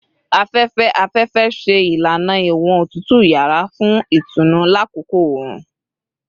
Afẹfẹ-afẹfẹ ṣe ilana iwọn otutu yara fun itunu lakoko oorun